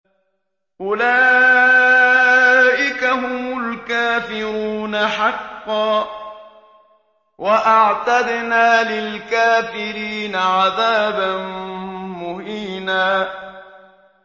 أُولَٰئِكَ هُمُ الْكَافِرُونَ حَقًّا ۚ وَأَعْتَدْنَا لِلْكَافِرِينَ عَذَابًا مُّهِينًا